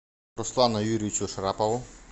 руслану юрьевичу шарапову